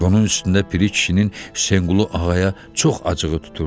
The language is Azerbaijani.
Bunun üstündə Piri kişinin Hüseynquluğaya çox acığı tuturdu.